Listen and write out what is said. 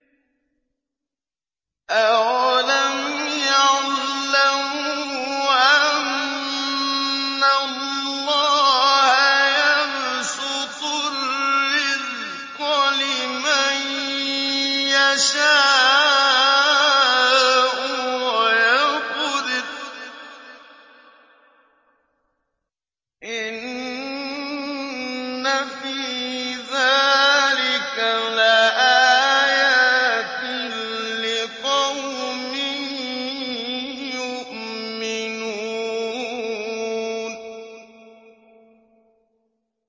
أَوَلَمْ يَعْلَمُوا أَنَّ اللَّهَ يَبْسُطُ الرِّزْقَ لِمَن يَشَاءُ وَيَقْدِرُ ۚ إِنَّ فِي ذَٰلِكَ لَآيَاتٍ لِّقَوْمٍ يُؤْمِنُونَ